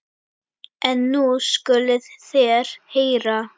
En nú skuluð þér heyra.